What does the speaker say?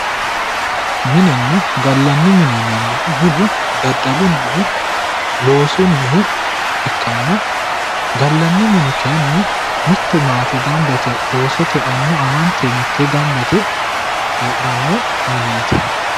minenna gallanni mine yinannihu minu daddalunnihu loosunnihu ikkanna gallanni mini kayiinni mitte maate gamba oosote annu amante mittee gamba yite heedhanno mineeti.